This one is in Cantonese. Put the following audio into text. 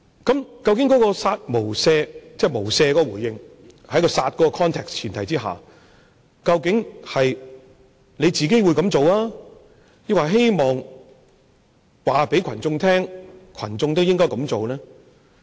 究竟"殺無赦"，即"無赦"的回應，在"殺"的話境及前提下，究竟是他自己會這樣做，抑或希望告訴群眾，群眾都應該這樣做？